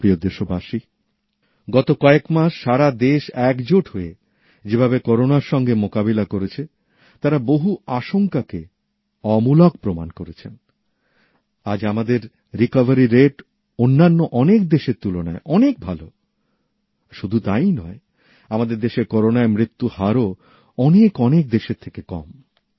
আমার প্রিয় দেশবাসী গত কয়েকমাস সারা দেশ একজোট হয়ে যে ভাবে করোনার সঙ্গে মোকাবিলা করেছেতাঁরা বহু আশঙ্কাকে অমূলক প্রমাণ করেছেন আজ আমাদের আরোগ্য লাভের হার অন্যান্য অনেক দেশের তুলনায় অনেক ভালো শুধু তাইই নয় আমাদের দেশের করোনায় মৃত্যু হারও অনেক অনেক দেশের থেকে কম